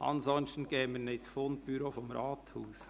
Sonst geben wir sie ins Fundbüro des Rathauses.